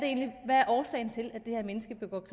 årsagen til at det her menneske begår